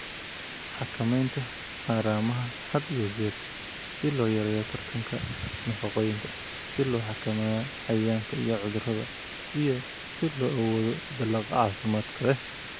"Xakamaynta haramaha had iyo jeer si loo yareeyo tartanka nafaqooyinka, si loo xakameeyo cayayaanka iyo cudurrada iyo si loo awoodo dalagga caafimaadka leh."